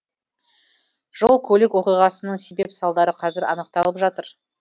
жол көлік оқиғасының себеп салдары қазір анықталып жатыр